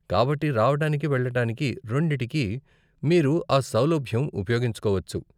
కాబట్టి రావటానికి, వెళ్ళటానికి రెండిటికీ మీరు ఆ సౌలభ్యం ఉపయోగించుకోవచ్చు.